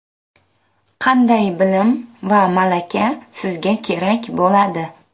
Qanday bilim va malaka sizga kerak bo‘ladi?